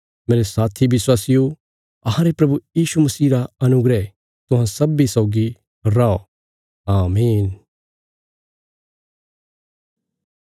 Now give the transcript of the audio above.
मेरे साथी विश्वासियो अहांरे प्रभु यीशु मसीह रा अनुग्रह तुहां सब्बीं सौगी रौ आमीन